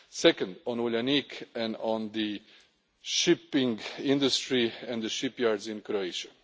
today. Second, on Uljanik and on the shipping industry and the shipyards in